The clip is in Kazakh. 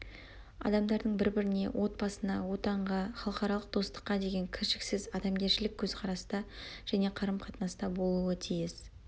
адамдардың бір біріне отбасына отанға халықаралық достыққа деген кіршіксіз адамгершілік көзқараста және қарым қатынаста болуы тиіс